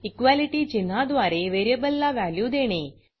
equality चिन्हाद्वारे व्हेरिएबलला value देणे